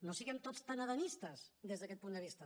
no siguem tots tan adamistes des d’aquest punt de vista